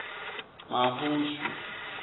mahushu